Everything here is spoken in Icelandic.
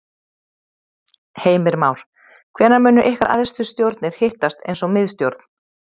Heimir Már: Hvenær munu ykkar æðstu stjórnir hittast eins og miðstjórn?